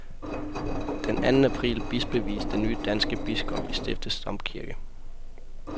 Den anden april bispevies den nye danske biskop i stiftets domkirke.